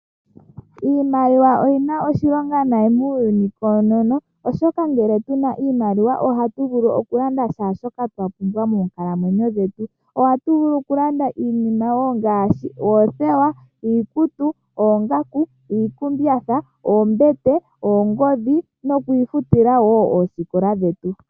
Iimaliwa oyina oshilonga nayi muuyuni koonono , oshoka ngele tuna iimaliwa ohatu vulu okulanda shaashoka twapumbwa moonkalamwenyo dhetu. Ohatu vulu okulanda iinima ngaashi oothewa, iikutu , oongaku , iikumbatha, oombete nokwiifutila wo oosikola dhetu.